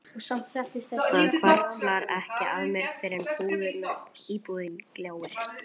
Það hvarflar ekki að mér fyrr en íbúðin gljáir.